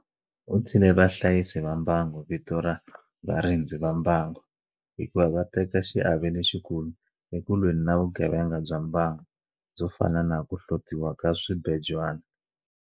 U thyile vahlayisi va mbango vito ra 'varindzi va mbango'hikuva va teka xiave lexikulu eku lweni na vugevenga bya mbango, byo fana na ku hlotiwa ka swibejwana.